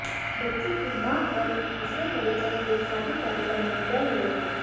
बच्ची की मां और दूसरे परिजन एक शादी कार्यक्रम में गए हुए थे